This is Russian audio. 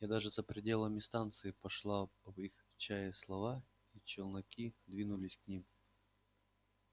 и даже за пределами станции пошла об их чае слава и челноки двинулись к ним